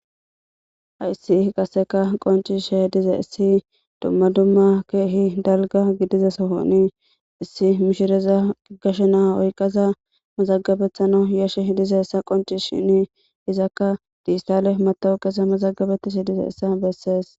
Hayissi qaseka qoncishe h dize issi dumma dumma keehi dalga gidizesohoni issi mishireza gashe naa oyqaza mazagabethano yashe hidize essa qonci shini izakka diigitale matawuqe mazagabetishi dizeyissa bessees.